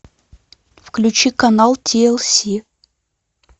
включи канал тлс